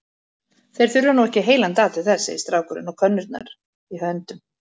Þeir þurfa nú ekki heilan dag til þess, segir strákurinn og könnurnar í höndum